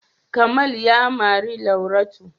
Kamal ya mari Lauratu.